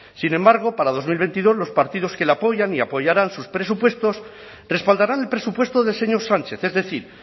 sin embargo para dos mil veintidós los partidos que le apoyan y apoyarán sus presupuestos respaldarán el presupuesto del señor sánchez es decir